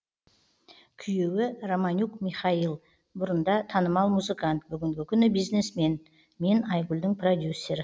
күйеуі романюк михаил бұрында танымал музыкант бүгінгі күні бизнесмен мен айгулдің продюсері